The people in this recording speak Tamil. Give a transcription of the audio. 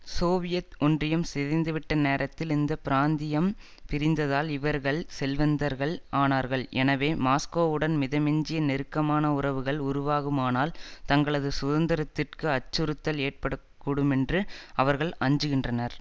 சோவியத் ஒன்றியம் சிதைந்துவிட்ட நேரத்தில் இந்த பிராந்தியம் பிரிந்ததால் இவர்கள் செல்வந்தர்கள் ஆனார்கள் எனவே மாஸ்கோவுடன் மிதமிஞ்சிய நெருக்கமான உறவுகள் உருவாகுமானால் தங்களது சுதந்திரத்திற்கு அச்சுறுத்தல் ஏற்படக்கூடுமென்று அவர்கள் அஞ்சுகின்றனர்